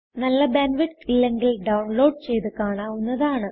നല്ല bandwidth ഇല്ലെങ്കിൽ download ചെയ്ത് കാണാവുന്നതാണ്